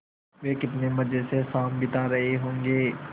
वे कितने मज़े से शाम बिता रहे होंगे